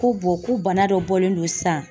Ko ko bana dɔ bɔlen don sisan .